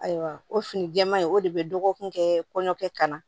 Ayiwa o fini jɛɛman in o de bɛ dɔgɔkun kɛ kɔɲɔkɛ ka na